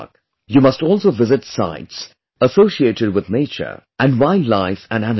You must also visit sites associated with nature and wild life and animals